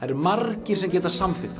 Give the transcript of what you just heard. margir sem geta samþykkt hana